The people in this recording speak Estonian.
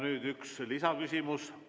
Nüüd üks lisaküsimus.